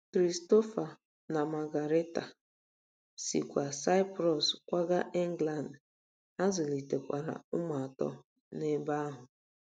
Christopher na Margarita sikwa Saịprọs kwaga England, ha zụlitekwara ụmụ atọ n'ebe ahụ.